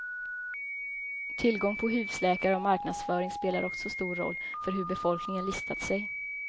Tillgång på husläkare och marknadsföring spelar också stor roll för hur befolkningen listat sig.